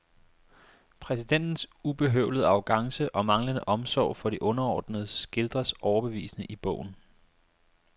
Præsidentens ubehøvlede arrogance og manglende omsorg for de underordnede skildres overbevisende i bogen.